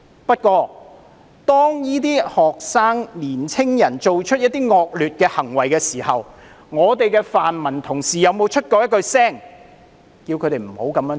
"不過，當這些學生、年青人做出一些惡劣行為的時候，我們的泛民同事有沒有出聲叫他們不要這樣做？